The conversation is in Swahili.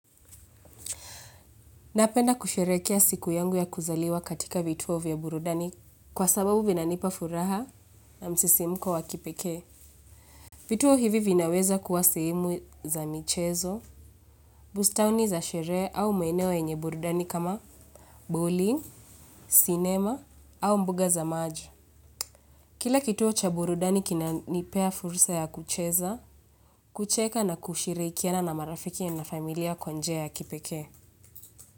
Napenda kusherehekea siku yangu ya kuzaliwa katika vituo vya burudani kwa sababu vinanipa furaha na msisimko wa kipekee. Vituo hivi vinaweza kuwa sehemu za michezo, bustani za sherehe au maeneo yenye burudani kama bowling, sinema au mbuga za maji. Kila kituo cha burudani kinanipa fursa ya kucheza, kucheka na kushirikiana na marafiki na familia kwa njia ya kipekee.